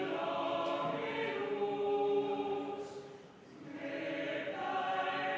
Ja nüüd muusika, palun.